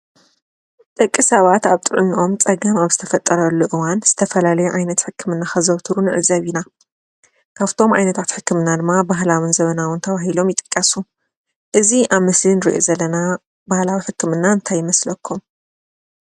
ደቂ ሰባት ኣብ ጥዕነኦም ፀገም ኣብ ዝተፈጠረሉ እዋን ዝተፈላለዩ ዓይነት ሕክምና ከዘውትሩ ንዕዘብ ኢና፡፡ ካብቶም ዓይነታት ሕክምና ድማ ባህላውን ዘበናውን ተባሂሎም ይጥቀሱ፡፡ እዚ ኣብ ምስሊ ንሪኦ ዘለና ባህላዊ ሕክምና ታይ ይመስለኩም ?